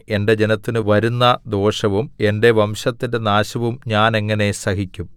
എന്റെ ജനത്തിന് വരുന്ന ദോഷവും എന്റെ വംശത്തിന്റെ നാശവും ഞാൻ എങ്ങനെ സഹിക്കും